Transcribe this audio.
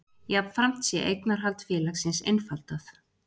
Jafnframt sé eignarhald félagsins einfaldað